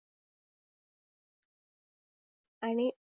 आणि